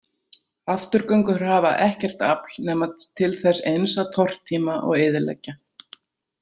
Afturgöngur hafa ekkert afl nema til þess eins að tortíma og eyðileggja.